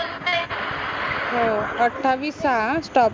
हो अठावीस साहा अं stop